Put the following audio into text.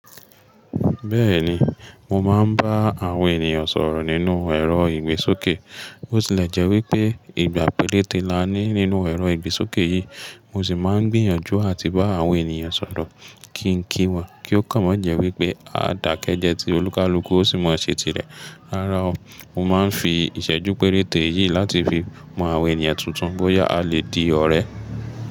Bẹ́ẹ̀ni, mo máa ń bá àwọn ènìyàn sọ̀rọ̀ nínú ẹ̀rọ ìgbésókè. Bo tì le jẹ́ wípé ìgbà péréte la ní nínú ẹ̀rọ ìgbésókè yìí. Mo sì máa ń gbìyànjú àti bá àwọn ènìyàn sọ̀rọ̀ kí ń kí wọn kí ó kàn mọ́ jẹ́ wípé a dàkẹ́ jẹ tí olúkalúkú ó sì mọ̀ ṣé ti rẹ. Rárá o, mo máa ń fi ìṣẹ́jú péréte yìí láti fi mọ àwọn ènìyàn tuntun bóyá a lè di ọ̀rẹ́.